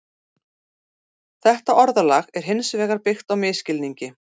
Þetta orðalag er hins vegar byggt á misskilningi.